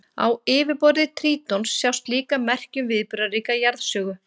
Á yfirborði Trítons sjást líka merki um viðburðaríka jarðsögu.